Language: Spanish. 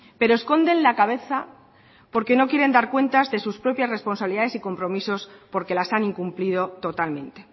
pero esconden la cabeza porque no quieren dar cuentas de sus propias responsabilidades y compromisos porque las han incumplido totalmente